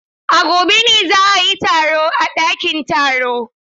A gobe ne za a yi taro a ɗakin taro.